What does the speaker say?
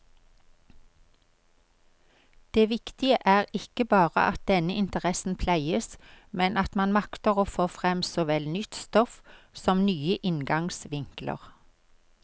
Det viktige er ikke bare at denne interessen pleies, men at man makter få frem såvel nytt stoff som nye inngangsvinkler.